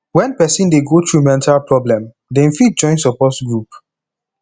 when person dey go through mental problem dem fit join support group